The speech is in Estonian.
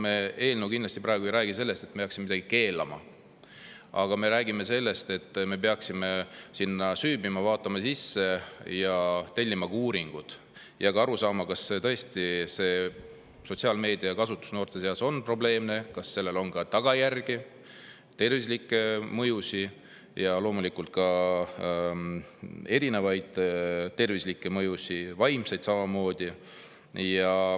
Meie eelnõu praegu kindlasti ei räägi sellest, et me peaksime midagi keelama, vaid me peaksime sinna süüvima, vaatama selle sisse, tellima uuringud ning aru saama, kas tõesti on sotsiaalmeedia kasutus noorte seas probleemne ja kas sellel on ka tagajärgi, loomulikult erinevaid tervislikke mõjusid, vaimseid samamoodi.